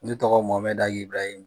Ne tɔgɔ Mɔmɛdi Ag'Ibirahim.